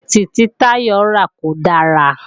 Sókẹ̀tì tí Táyọ̀ rà kò dára